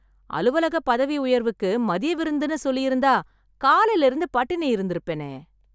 அலுவலகப் பதவி உயர்வுக்கு மதிய விருந்துன்னு சொல்லிருந்தா காலைல இருந்து பட்டினி இருந்துருப்பேனே.